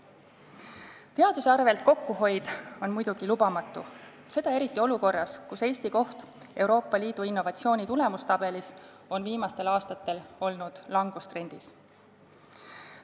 Kokkuhoid teaduse arvel on muidugi lubamatu, seda eriti olukorras, kus Eesti koht Euroopa Liidu innovatsiooni tulemustabelis on viimastel aastatel olnud langustrendis.